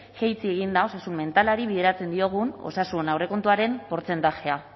jaitsi egin da osasun mentalari bideratzen diegun osasun aurrekontuaren portzentajea